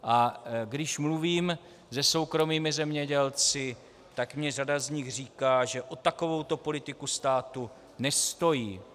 A když mluvím se soukromými zemědělci, tak mi řada z nich říká, že o takovouto politiku státu nestojí.